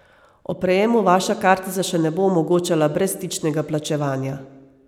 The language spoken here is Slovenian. Ob prejemu vaša kartica še ne bo omogočala brezstičnega plačevanja.